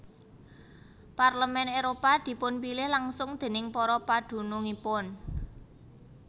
Parlemen Éropah dipunpilih langsung déning para padunungipun